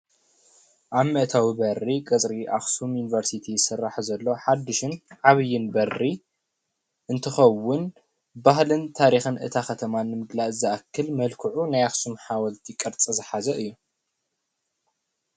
ኣብ መእተዊ በሪ ቀፅሪ ኣክሱም ዩኒቨርስቲ ይስራሕ ዘሎ ሓድሽን ዓብይን በሪ እንትከውን ባህልን ታሪክን እታ ከተማ ንምግላፅ ዝኣክል መልክዑ ናይ ኣክሱም ሓወልቲ ቅርፂ ዝሓዘ እዩ፡፡